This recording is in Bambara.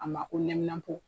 A ma ko nɛminapo.